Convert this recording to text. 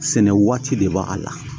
Sɛnɛ waati de b'a la